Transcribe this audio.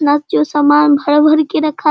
plus जो सामान भर भर के रखा --